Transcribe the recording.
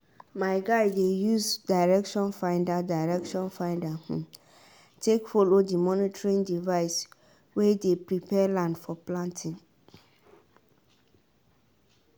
my guy dey use direction finder direction finder um take follow the monitoring device way dey prepare land for planting